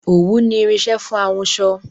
Òwú ni irinsẹ́ fún ahunsọ